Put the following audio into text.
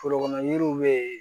Forokɔnɔ yiriw bɛ yen